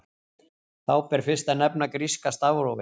Þá ber fyrst að nefna gríska stafrófið.